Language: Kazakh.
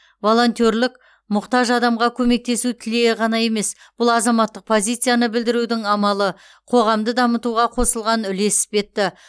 волонтерлік мұқтаж адамға көмектесу тілегі ғана емес бұл азаматтық позицияны білдірудің амалы қоғамды дамытуға қосылған үлес іспетті